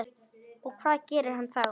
Og hvað gerir hann þá?